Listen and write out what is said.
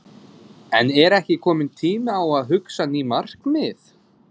En er ekki kominn tími á að hugsa ný markmið?